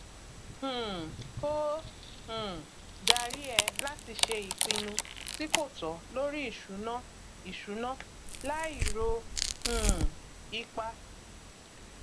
um ó um darí ẹ láti ṣe ìpinnu tí kò tọ lórí ìṣúná ìṣúná láì ro um ipa